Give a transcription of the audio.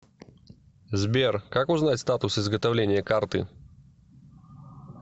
сбер как узнать статус изготовления карты